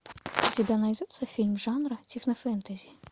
у тебя найдется фильм жанра технофэнтези